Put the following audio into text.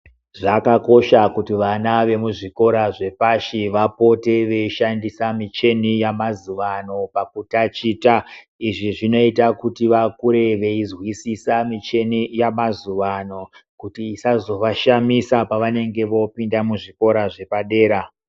Zvakakosha kuti vana vemuzvikora zvepashi vapote veishandisa mishini yamazuvaano pakutaticha. Izvi zvinoite kuti vakure veizwisisa mishini yamazuva ano kuti isazovashamisa pavanenge voopinda muzvikora zvepadera.